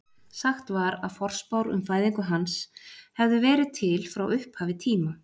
Sagt var að forspár um fæðingu hans hefðu verið til frá upphafi tíma.